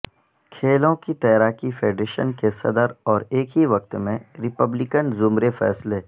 کھیلوں کی تیراکی فیڈریشن کے صدر اور ایک ہی وقت میں ریپبلکن زمرے فیصلہ